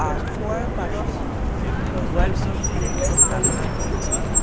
আর ফোয়ারার পাশেই দুই তিনটি ফুলের টপ রাখা রয়েছে।